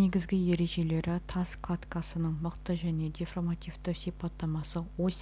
негізгі ережелері тас кладкасының мықты және деформативті сипаттамасы ось